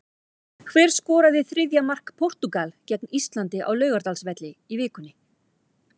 Hver skoraði þriðja mark Portúgal gegn Íslandi á Laugardalsvelli í vikunni?